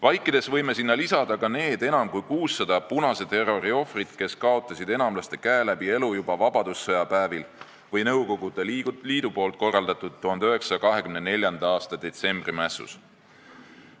Vaikides võime sinna lisada ka need enam kui 600 punase terrori ohvrit, kes kaotasid enamlaste käe läbi elu juba vabadussõja päevil või Nõukogude Liidu korraldatud 1924. aasta detsembrimässus.